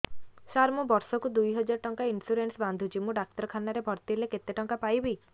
ସାର ମୁ ବର୍ଷ କୁ ଦୁଇ ହଜାର ଟଙ୍କା ଇନ୍ସୁରେନ୍ସ ବାନ୍ଧୁଛି ମୁ ଡାକ୍ତରଖାନା ରେ ଭର୍ତ୍ତିହେଲେ କେତେଟଙ୍କା ପାଇବି